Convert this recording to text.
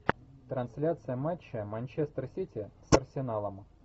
трансляция матча манчестер сити с арсеналом